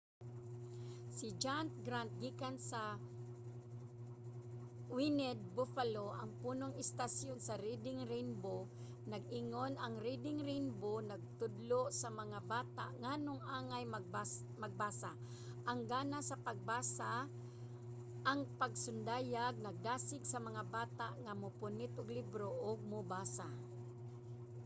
si john grant gikan sa wned buffalo ang punong istasyon sa reading rainbow nag-ingon ang reading rainbow nagtudlo sa mga bata nganong angay magbasa,... ang gana sa pagbasa — [ang pasundayag] nagdasig sa mga bata nga mopunit og libro ug mobasa.